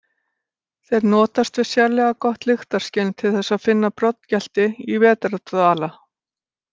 Þeir notast við sérlega gott lyktarskyn til þess að finna broddgelti í vetrardvala.